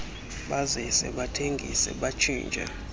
bazise bathengise batshintshe